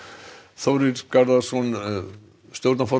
Þórir Garðarsson